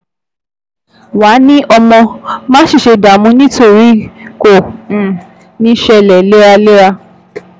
Wàá ní ọmọ, má sì ṣe dààmú nítorí kò um ní ṣṣẹlẹ̀ léraléra